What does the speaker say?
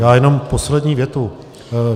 Já jenom poslední větu.